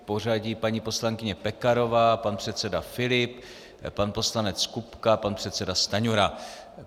V pořadí paní poslankyně Pekarová, pan předseda Filip, pan poslanec Kupka, pan předseda Stanjura.